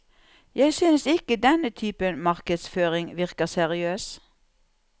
Jeg synes ikke denne typen markedsføring virker seriøs.